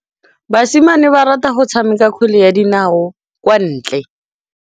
Basimane ba rata go tshameka kgwele ya dinaô kwa ntle.